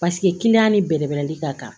Paseke ni bɛrɛbɛrɛli ka kan